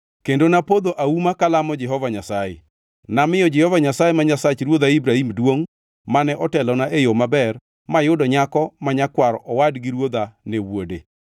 kendo napodho auma kalamo Jehova Nyasaye. Namiyo Jehova Nyasaye ma Nyasach ruodha Ibrahim duongʼ, mane telona e yo maber mayudo nyako ma nyakwar owad gi ruodha ne wuode.